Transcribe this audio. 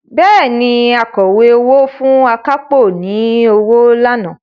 Bẹ́ẹ̀ni, Akọ̀wé owó fún akápò ní owó lánàá